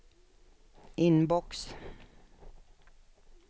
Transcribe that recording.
inbox